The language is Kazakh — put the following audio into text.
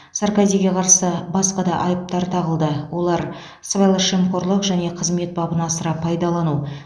саркозиге қарсы басқа да айыптар тағылды олар сыбайлас жемқорлық және қызмет бабын асыра пайдалану